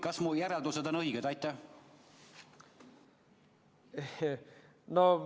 Kas mu järeldused on õiged?